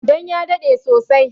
Dan ya daɗe sosai